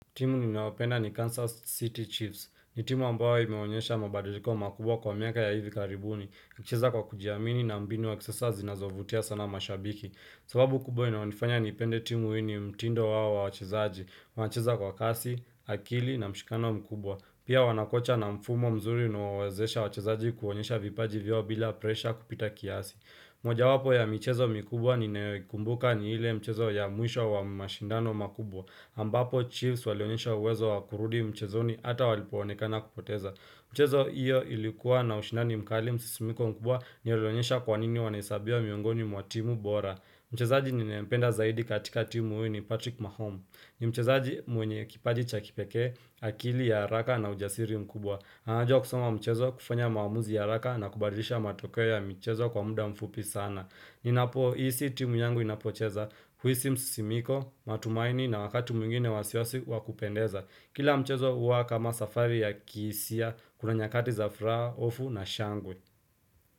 Timu ninawapenda ni Kansas City Chiefs, ni timu ambayo imeonyesha mabadiliko makubwa kwa miaka ya hivi karibuni, ncheza kwa kujiamini na mbinu ya kisasa zinazovutia sana mashabiki. Sababu kubwa inaonifanya nipende timu ini mtindo wao wa wachezaji, wanacheza kwa kasi, akili na mshikano mkubwa, pia wanakocha na mfumo mzuri unaowawezesha wachezaji kuonyesha vipaji vyao bila presha kupita kiasi. Moja wapo ya michezo mikubwa ninayoikumbuka ni ile michezo ya muisho wa mashindano makubwa, ambapo chiefs walionyesha uwezo wakurudi mchezoni ata walipoonekana kupoteza. Mchezo iyo ilikuwa na ushinani mkali msisimiko mkubwa nilionyesha kwanini wanaisabia miungoni mwa timu bora. Mchezaji ninayempenda zaidi katika timu huyu ni Patrick Mahom. Ni mchezaji mwenye kipaji chakipekee, akili ya haraka na ujasiri mkubwa. Anajua kusoma mchezo kufanya maamuzi ya haraka na kubadilisha matokeo ya michezo kwa muda mfupi sana. Ni na po isi timu yangu inapocheza huisi msisimiko matumaini na wakatu mwingine wasiwasi wakupendeza Kila mchezo uwa kama safari ya kiisia kuna nyakati za furaha ofu na shangwe.